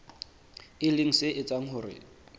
e leng se etsang hore